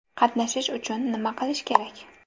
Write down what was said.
Qatnashish uchun nima qilish kerak?